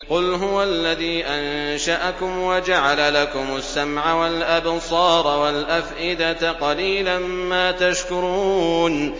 قُلْ هُوَ الَّذِي أَنشَأَكُمْ وَجَعَلَ لَكُمُ السَّمْعَ وَالْأَبْصَارَ وَالْأَفْئِدَةَ ۖ قَلِيلًا مَّا تَشْكُرُونَ